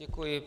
Děkuji.